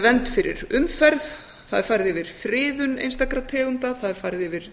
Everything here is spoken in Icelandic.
vernd fyrir umferð það er farið yfir friðun einstakra tegunda það er farið yfir